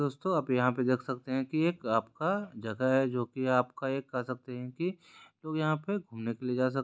दोस्तों आप यहाँ पे देख सकते हैं कि एक आपका जगह है जो कि आपका एक कह सकते है की लोग यहाँ पे घूमने के लिए जा सकते--